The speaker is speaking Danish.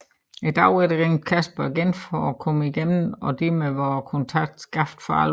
Dagen efter ringede Kasper igen for at komme igennem og hermed var kontakten skabt for alvor